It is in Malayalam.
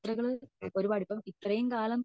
അപ്പൊ യാത്രകൾ ഒരുപാട് ഇപ്പൊ ഇത്രയും കാലം